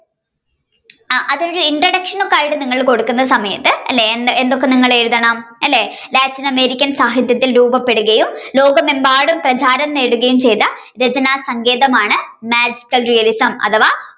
ആ അത് ഒരു introduction ഒക്കെ ആയിട്ട് കൊടുക്കുന്ന സമയത്തു അല്ലെ എന്തൊക്കെ നിങ്ങൾ എഴുതണം അല്ലെ Latin American സാഹിത്യത്തിൽ രൂപപ്പെടുകയും ലോകമെമ്പാടും പ്രധാനം നേടുകയും ചെയ്ത രചനാസങ്കേതമാണ് Magical realism അഥവാ